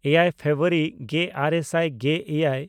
ᱮᱭᱟᱭ ᱯᱷᱮᱵᱨᱩᱣᱟᱨᱤ ᱜᱮᱼᱟᱨᱮ ᱥᱟᱭ ᱜᱮᱼᱮᱭᱟᱭ